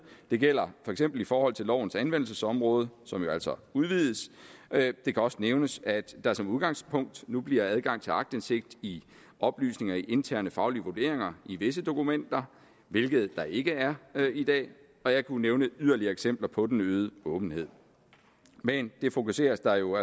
det gælder for eksempel i forhold til lovens anvendelsesområde som jo altså udvides det kan også nævnes at der som udgangspunkt nu bliver adgang til aktindsigt i oplysninger om interne faglige vurderinger i visse dokumenter hvilket der ikke er i dag og jeg kunne nævne yderligere eksempler på den øgede åbenhed men det fokuseres der jo